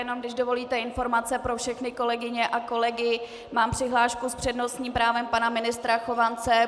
Jenom, když dovolíte, informace pro všechny kolegyně a kolegy, mám přihlášku s přednostním právem pana ministra Chovance.